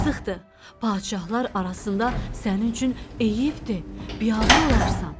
Yazıqdır, padşahlar arasında sənin üçün eyibdir, biabır olarsan.